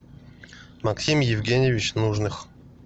максим евгеньевич нужных